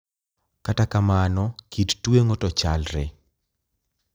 Kata kamano, kit tweng`o to chalre.